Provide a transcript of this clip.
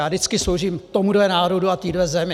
Já vždycky sloužím tomuhle národu a téhle zemi!